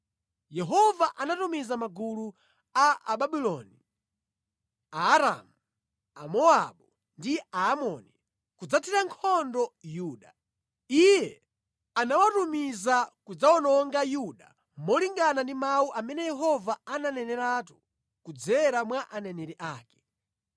Yehova anatumiza magulu a Ababuloni, Aaramu, Amowabu ndi Aamoni, kudzathira nkhondo Yuda. Iye anawatumiza kudzawononga Yuda molingana ndi mawu amene Yehova ananeneratu kudzera mwa aneneri ake.